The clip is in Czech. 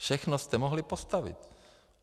Všechno jste mohli postavit.